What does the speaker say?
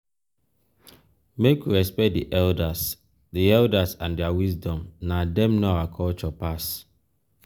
make we respect di elders di elders and their wisdom na dem know our culture pass.